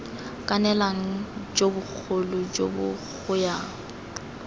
kanelang jo bogolo jo goyang